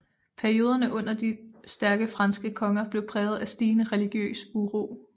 Perioderne under de stærke franske konger blev præget af stigende religiøs uro